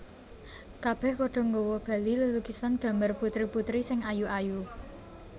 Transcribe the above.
Kabèh padha nggawa bali lelukisan gambar putri putri sing ayu ayu